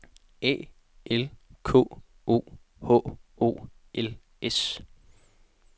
A L K O H O L S